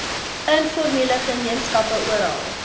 informele gemeenskappe oral